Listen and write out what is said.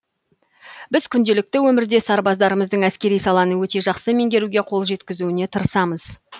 біз күнделікті өмірде сарбаздарымыздың әскери саланы өте жақсы меңгеруге қол жеткізуіне тырысамыз